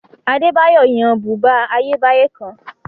Adébáyọ̀ yan bùbá Ayébáyé kan